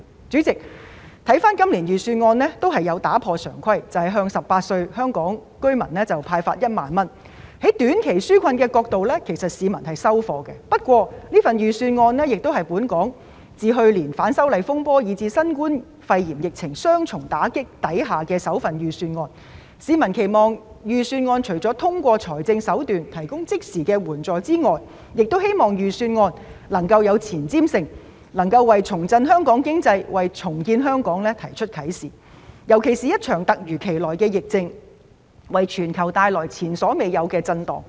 主席，預算案亦打破常規，向18歲及以上的香港居民派發1萬元，從短期紓困角度來看，市民是"收貨"的，但預算案是去年反修例風波以至新冠肺炎疫情雙重打擊後的首份預算案，市民期望預算案除了通過財政手段提供即時援助外，亦期望預算案有前瞻性，為重振香港經濟、重建香港作出啟示，尤其是在一場突如其來的疫症，為全球帶來前所未有的震盪的時候。